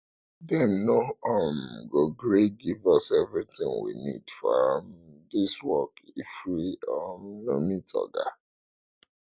dem no um go gree give us everything we need for um dis work if we um no meet oga